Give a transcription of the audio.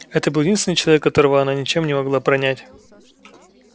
это был единственный человек которого она ничем не могла пронять